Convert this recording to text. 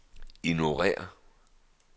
ignorér